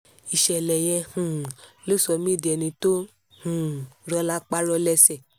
ìṣẹ̀lẹ̀ yẹn um ló sọ mí di ẹni tó um rọ lápá rọ lẹ́sẹ̀